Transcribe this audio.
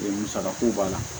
Musakako b'a la